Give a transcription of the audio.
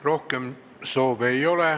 Rohkem soove ei ole.